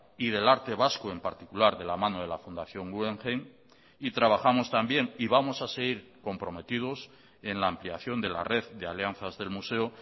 y del arte vasco en particular de la mano de la fundación guggenheim y trabajamos también y vamos a seguir comprometidos en la ampliación de la red de alianzas del museo